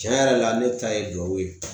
Tiɲɛ yɛrɛ la ne ta ye gawo ye